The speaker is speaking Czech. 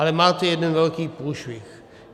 Ale máte jeden velký průšvih.